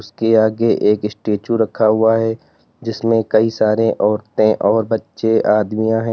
उसके आगे एक स्टैचू रखा हुआ है जिसमें कई सारे औरतें और बच्चे आदमियां है।